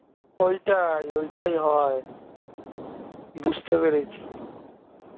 ঐটাই ঐটাই হয় বুঝতে পেরেছি